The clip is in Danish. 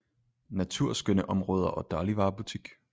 Naturskønne områder og dagligvarebutik